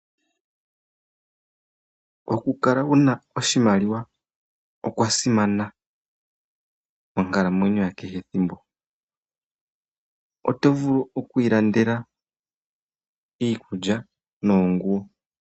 Okukala wu na oshimaliwa okwa simana monkalamwenyo yakehe thimbo, oto vulu oku ilandela iikulya noonguwo.